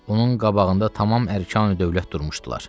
Onun qabağında tamam ərkani-dövlət durmuşdular.